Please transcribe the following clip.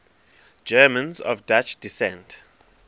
germans of dutch descent